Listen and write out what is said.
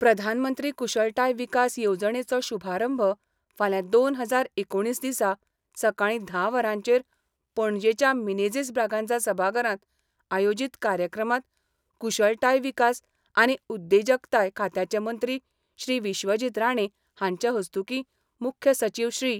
प्रधानमंत्री कुशळताय विकास येवजणेचो शुभारंभ फाल्यां दोन हजार एकुणीस दिसा सकाळी धा वरांचेर पणजेच्या मिनेझिस ब्रागांझा सभाघरात आयोजित कार्यक्रमात कुशळताय विकास आनी उद्देजकताय खात्याचे मंत्री श्री विश्वजित राणे हांचे हस्तूकीं मुख्य सचिव श्री.